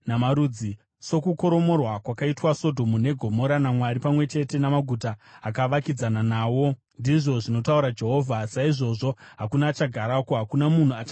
Sokukoromorwa kwakaitwa Sodhomu neGomora naMwari pamwe chete namaguta akavakidzana nawo,” ndizvo zvinotaura Jehovha, “saizvozvo hakuna achagarako; hakuna munhu achagara mairi.